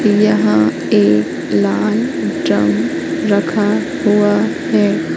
यहां एक लाल ड्रम रखा हुआ है।